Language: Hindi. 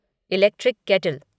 electric kettle